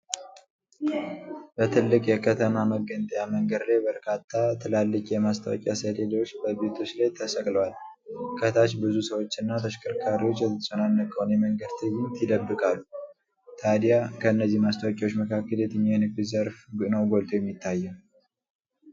በትልቅ የከተማ መገንጠያ መንገድ ላይ በርካታ ትላልቅ የማስታወቂያ ሰሌዳዎች በቤቶች ላይ ተሰቅለዋል። ከታች ብዙ ሰዎችና ተሽከርካሪዎች የተጨናነቀውን የመንገድ ትዕይንት ይደብቃሉ። ታዲያ ከነዚህ ማስታወቂያዎች መካከል የትኛው የንግድ ዘርፍ ነው ጎልቶ የሚታየው?